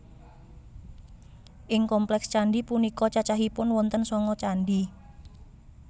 Ing kompleks candhi punika cacahipun wonten sanga candhi